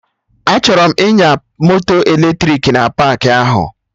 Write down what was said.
Achọrọ m ịnya moto eletrik na paakị ahụ